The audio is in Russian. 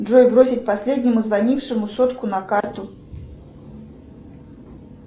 джой бросить последнему звонившему сотку на карту